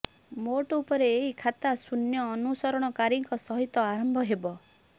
ମୋଟ ଉପରେ ଏହି ଖାତା ଶୂନ୍ୟ ଅନୁସରଣକାରୀଙ୍କ ସହିତ ଆରମ୍ଭ ହେବ